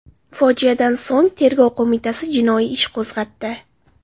Fojiadan so‘ng Tergov qo‘mitasi jinoiy ish qo‘zg‘atdi.